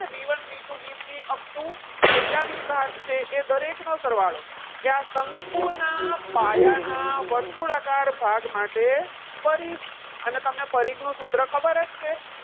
B one B two B three up to જેટલા B ભાગ છે, દરેક નો સરવાળો. કે એ આ શંકુ ના પાયાના વર્તુળાકાર ભાગ માટે પરીખ. અને તમને પરિઘનું સૂત્ર ખબર જ છે.